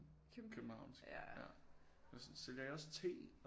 Københavnsk ja sådan sælger I også te